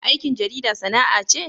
Aikin jarida sana'a ce?